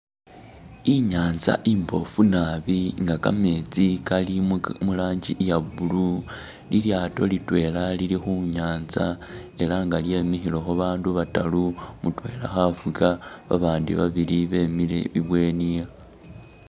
I'nyanza imbofu nabi nga kameetsi kali muka mu langi iya blue. Lilyaato litwela lili khu nyanza ela nga lyemikhilekho bandu bataru, mutwela khafuga babandi babili bemile ibweni.